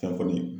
Fɛn kɔni